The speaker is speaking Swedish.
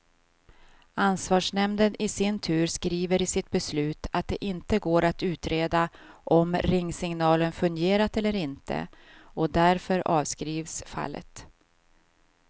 Ansvarsnämnden i sin tur skriver i sitt beslut att det inte går att utreda om ringsignalen fungerat eller inte, och därför avskrivs fallet.